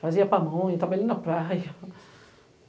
Fazia pamonha, trabalhei na praia.